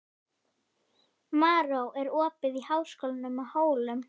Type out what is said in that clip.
Maron, er opið í Háskólanum á Hólum?